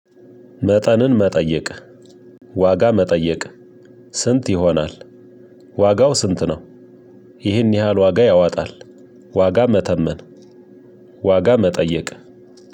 መጠንን መጠየቅ ዋጋ መጠየቅ ስንት ይሆናል ዋጋው ስንት ነው? ይህን ያህል ዋጋ ያዋጣል። ዋጋ መተመን። ዋጋ መጠየቅ